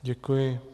Děkuji.